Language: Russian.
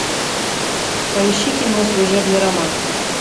поищи кино служебный роман